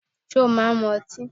Ṣé ó máa ń mu ọtí?